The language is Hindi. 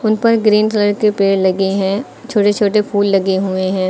ऊपर ग्रीन कलर के पेड़ लगे हैं छोटे छोटे फूल लगे हुए हैं।